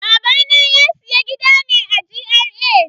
Babana ya siya gida ne a GRA.